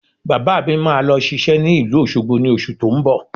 Bàbá mi máa lọ ṣiṣẹ́ ní ìlú Òṣogbo ní oṣù tó ń bọ̀